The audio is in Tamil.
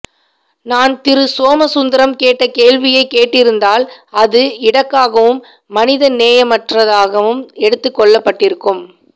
நான் திரு சோம சுந்தரம் கேட்ட கேள்வியை கேட்டிருந்தால் அஃது இடக்காகவும் மனித நேயமற்றதாகவும் எடுத்துக்கொள்ளப்பட்டிருக்கும்